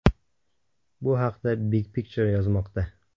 Bu haqda Big Picture yozmoqda .